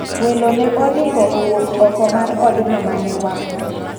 Welo ne oring'o owuok oko mar odno mane wang'.